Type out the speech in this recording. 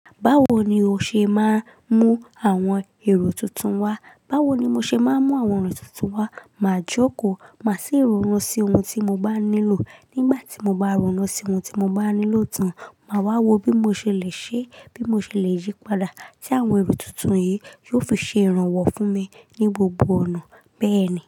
Báwo ni o ṣe máa ń mú àwọn èrò tuntun wá? Báwo ni mo ṣe máa ń mú àwọn èrò tuntun wá? Màá jókòó, màá sì ronú sí ohun tí mo bá nílò. Nígbà tí mo bá ronú sí ohun tí mo bá nílò tán, màá wá wo bí mo ṣe le ṣe, bí mo ṣe le yípadà tí àwọn èrò tuntun yìí yóò fi ṣe ìrànwọ́ fún mi ní gbogbo ọ̀nà bẹ́ẹ̀ni.